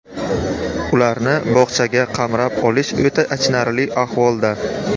Ularni bog‘chaga qamrab olish o‘ta achinarli ahvolda.